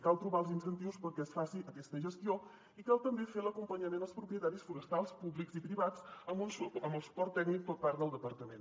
cal trobar els incentius perquè es faci aquesta gestió i cal també fer l’acompanyament als propietaris forestals públics i privats amb el suport tècnic per part del departament